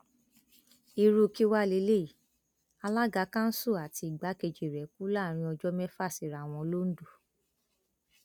irú kí wàá lélẹyìí alága kanṣu àti igbákejì rẹ kú láàrin ọjọ mẹfà síra wọn londo